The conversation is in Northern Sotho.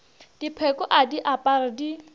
dipheko a di apare di